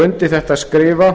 undir þetta skrifa